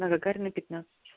на гагарина пятнадцать